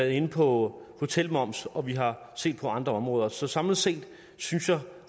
inde på hotelmoms og vi har set på andre områder så samlet set synes jeg